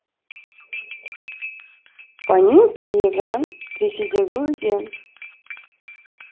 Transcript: панинский еган ресейдегі өзен